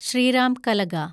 Shriram Kalaga